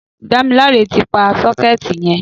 Damilare ti pà sọkẹti yẹn